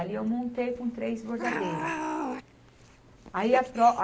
Ali eu montei com três bordadeiras. Aí a pró a